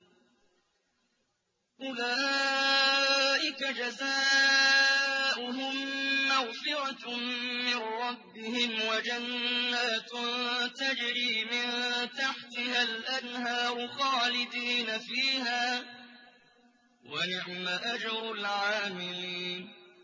أُولَٰئِكَ جَزَاؤُهُم مَّغْفِرَةٌ مِّن رَّبِّهِمْ وَجَنَّاتٌ تَجْرِي مِن تَحْتِهَا الْأَنْهَارُ خَالِدِينَ فِيهَا ۚ وَنِعْمَ أَجْرُ الْعَامِلِينَ